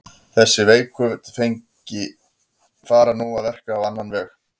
Þessi veiku tengi fara nú að verka á annan veg.